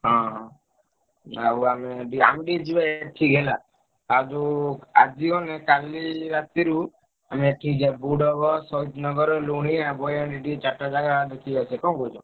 ହଁ ହଁ ଆଉ ଆମେ ବି ଆମେ ଟିକେ ଯିବା ଏଠି ହେଲା ଆ ଯୋଉ ଆଜି ଗଲେ କାଲି ରାତିରୁ ଆମେ ଏଠିକି ଯିବା ବୁଡଙ୍ଗ, ସହିଦନଗର, ଲୁଣିଆ, ଏଇ ଚାରିଟା ଜାଗା ଦେଖିକି ଆସିଆ କଣ କହୁଛ?